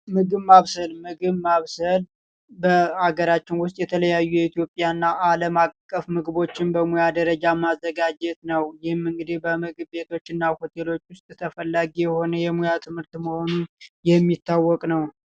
በአገራችን ውስጥ የተለያዩ የኢትዮጵያና አለማቀፍ ምግቦችን በሙያ ደረጃ ማዘጋጀት ነው እንግዲህ በምግብ ቤቶች ውስጥ ተፈላጊ የሆነ የሙያ ትምህርት መሆኑን የሚታወቅ ነው